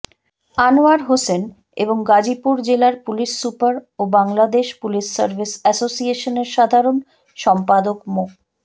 আনোয়ার হোসেন এবং গাজীপুর জেলার police super ও বাংলাদেশ পুলিশ সার্ভিস এসোসিয়েশনের সাধারণ সম্পাদক মো